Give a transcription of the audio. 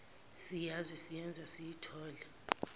siyazi siyenze siyithole